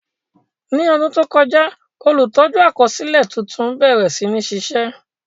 Ní ọdún tó kọjá, olùtọ́jú àkọsílẹ̀ tuntun bẹ̀rẹ̀ sí ní ṣiṣẹ́.